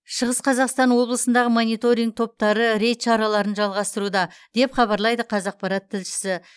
шығыс қазақстан облысындағы мониторинг топтары рейд шараларын жалғастыруда деп хабарлайды қазақпарат тілшісі